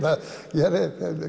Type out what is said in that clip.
ég hef